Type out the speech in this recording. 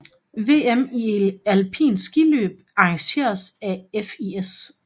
VM i alpint skiløb arrangeret af FIS